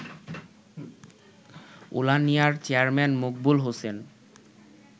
উলানিয়ার chairman Maqbool Hossain